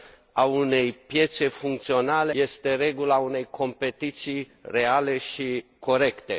a unei piețe funcționale este regula unei competiții reale și corecte.